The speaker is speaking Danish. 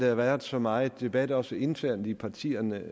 har været så meget debat også internt i partierne